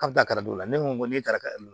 K'a bɛ taa karamɔgɔ la ne ko ne taara ka